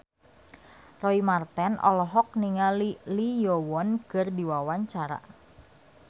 Roy Marten olohok ningali Lee Yo Won keur diwawancara